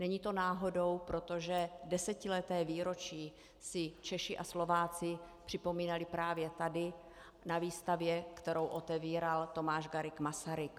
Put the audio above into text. Není to náhodou, protože desetileté výročí si Češi a Slováci připomínali právě tady, na výstavě, kterou otevíral Tomáš Garrigue Masaryk.